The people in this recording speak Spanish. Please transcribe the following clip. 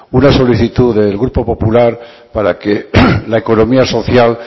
una solicitud del grupo popular para que la economía social